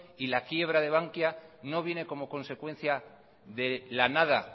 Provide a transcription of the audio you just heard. y la quiebra de bankia no viene como consecuencia de la nada